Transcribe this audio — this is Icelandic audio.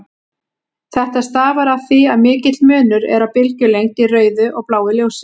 Þetta stafar af því að mikill munur er á bylgjulengd í rauðu og bláu ljósi.